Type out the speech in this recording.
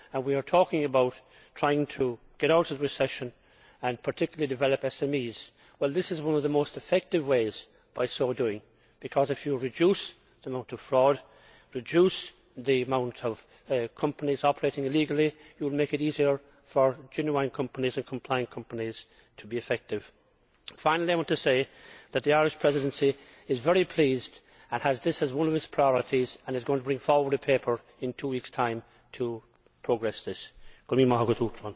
and grow. We are talking about trying to get out of recession and, particularly, develop SMEs this is one of the most effective ways of so doing, because if you reduce the amount of fraud and the number of companies operating illegally, you will make it easier for genuine companies and compliant companies to be effective. Finally I want to say that the Irish Presidency is very pleased, and has this as one of its priorities, and is going to bring forward a paper in two weeks' time to make progress on this.